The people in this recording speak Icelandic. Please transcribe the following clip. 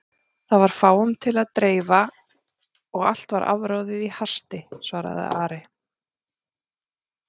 Það var fáum til að dreifa og allt afráðið í hasti, svaraði Ari.